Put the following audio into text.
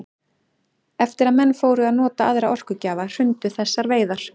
Eftir að menn fóru að nota aðra orkugjafa hrundu þessar veiðar.